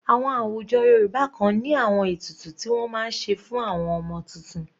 Àwọn àwùjọ Yorùbá kan ní àwọn ètùtù ti wọ́n máa ń ṣe fún àwọn ọmọ tuntun.